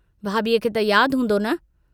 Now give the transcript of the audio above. भाभीअ खे त याद हूंदो न?